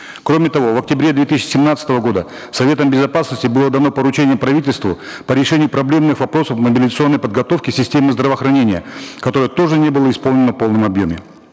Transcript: кроме того в октябре две тысячи семнадцатого года советом безопасности было дано поручение правительству по решению проблемных вопросов мобилизационной подготовки системы здравоохранения которое тоже не было исполнено в полном обьеме